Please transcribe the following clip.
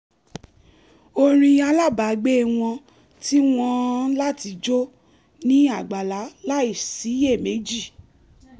orin alábàágbé wọn tì wọn láti jó ní àgbàlá láìsiyèméjì